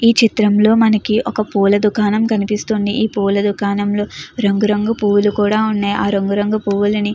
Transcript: ఈ చిత్రంలో మనకి ఒక పూల దుకాణం కనిపిస్తుంది. ఈ పోల దుకాణంలో రంగురంగు పూలు కూడా ఉన్నాయి. ఆ రంగురంగు పువ్వుల్ని--